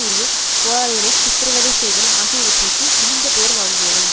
உரிய போராளிகளை சித்திரவதை செய்தல் ஆகியவற்றிர்க்கு இழிந்த பெயர் வாங்கியவை